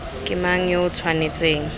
ke mang yo o tshwanetseng